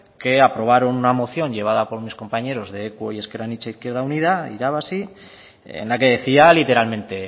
que aprobaron una moción llevada por mis compañeros de equo y ezker anitza izquierda unida irabazi en la que decía literalmente